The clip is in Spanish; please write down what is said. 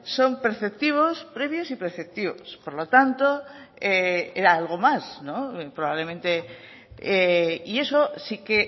son preceptivos previos y preceptivos por lo tanto era algo más probablemente y eso sí que